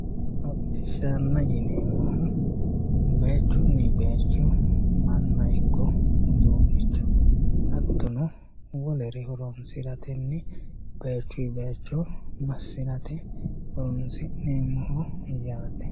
hodhishshanna yineemmohu bayiichunni bayiicho manna ikko uduunnicho hattono wolere horonsiratenni bayiichinni bayiicho massirate horonsi'neemmoho yaate.